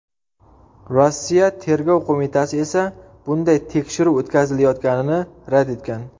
Rossiya Tergov qo‘mitasi esa bunday tekshiruv o‘tkazilayotganini rad etgan .